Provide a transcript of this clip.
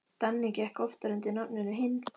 Danni gekk oftar undir nafninu Hinn.